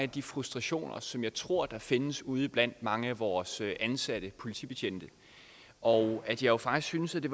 de frustrationer som jeg tror findes ude blandt mange af vores ansatte politibetjente og at jeg faktisk synes at det